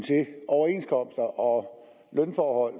overenskomster og lønforhold